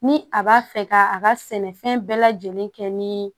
Ni a b'a fɛ ka a ka sɛnɛfɛn bɛɛ lajɛlen kɛ ni